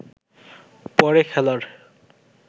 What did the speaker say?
পরে খেলার